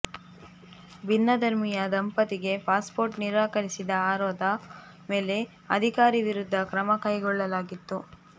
ಭಿನ್ನ ಧರ್ಮೀಯ ದಂಪತಿಗೆ ಪಾಸ್ಪೋರ್ಟ್ ನಿರಾಕರಿಸಿದ ಆರೋದ ಮೇಲೆ ಅಧಿಕಾರಿ ವಿರುದ್ಧ ಕ್ರಮ ಕೈಗೊಳ್ಳಲಾಗಿತ್ತು